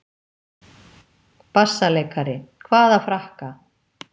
BASSALEIKARI: Hvaða frakka?